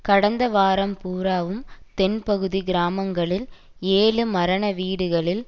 கடந்த வாரம் பூராவும் தென் பகுதி கிராமங்களில் ஏழு மரண வீடுகளில்